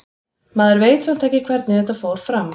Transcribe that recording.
Maður veit samt ekki hvernig þetta fór fram.